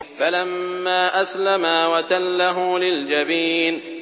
فَلَمَّا أَسْلَمَا وَتَلَّهُ لِلْجَبِينِ